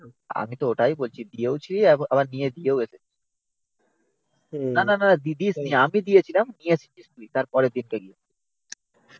আমি তো ওটাই বলছি দিয়েওছিলি আবার নিয়ে দিয়েও এসছিলি। নানা নানা দিসনি আমি দিয়েছিলাম নিয়ে এসছিস তুই তারপরের দিন কে গিয়ে